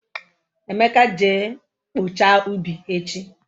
Emeka je kpochaa ubi echi